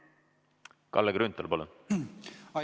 Kalle Grünthal, palun!